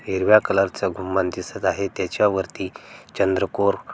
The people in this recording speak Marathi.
हिरव्या कलरच गुंबद दिसत आहे त्याच्या वरती चंद्रकोर--